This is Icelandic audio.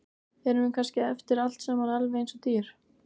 Erum við kannski eftir allt saman alveg eins og dýr?